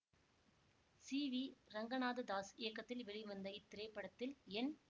C V Ranganatha Das இயக்கத்தில் வெளிவந்த இத்திரைப்படத்தில் என்